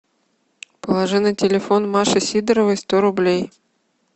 положи на телефон маши сидоровой сто рублей